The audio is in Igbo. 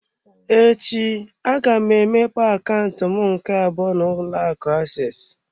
Echi, aga m emepe akaụntụ m nke abụọ n'ụlọ akụ access.